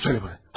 Söylə mənə!